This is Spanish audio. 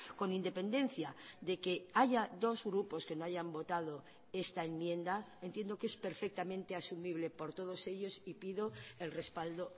con independencia de que haya dos grupos que no hayan votado esta enmienda entiendo que es perfectamente asumible por todos ellos y pido el respaldo